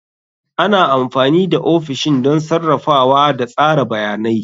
Ana amfani da ofishin don sarrafawa da tsara bayanai.